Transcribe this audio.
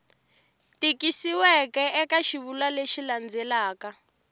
tikisiweke eka xivulwa lexi landzelaka